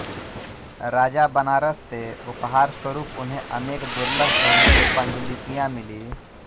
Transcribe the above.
राजा बनारस से उपहारस्वरूप उन्हें अनेक दुर्लभ बहुमूल्य पाण्डुलिपियां मिली